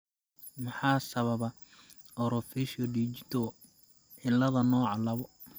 Maxaa sababa orofaciodigital ciilada nooca laabo?